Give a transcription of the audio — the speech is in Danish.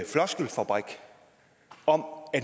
floskelfabrik om at